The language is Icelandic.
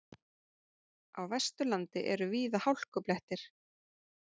Á Vesturlandi eru víða hálkublettir